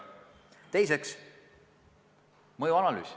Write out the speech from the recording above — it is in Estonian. Teiseks, mõjuanalüüs.